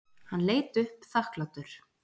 Hann leit upp þakklátur.